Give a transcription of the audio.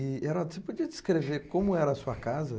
E, Heraldo, você podia descrever como era a sua casa?